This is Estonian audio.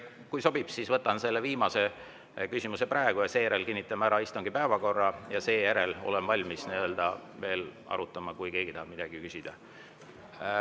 Kui sobib, siis võtan viimase küsimuse praegu, siis kinnitame ära istungi päevakorra ja seejärel olen valmis veel arutama, kui keegi tahab midagi küsida.